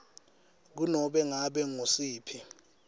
kunobe ngabe ngusiphi